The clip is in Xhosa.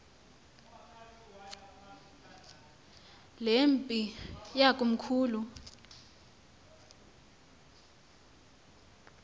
le mpi yakomkhulu